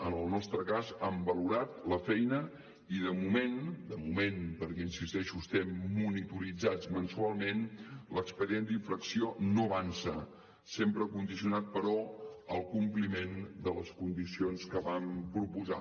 en el nostre cas han valorat la feina i de moment de moment perquè hi insisteixo estem monitorats mensualment l’expedient d’infracció no avança sempre condicionat però al compliment de les condicions que vam proposar